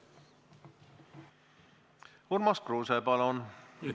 Urmas Kruuse, palun!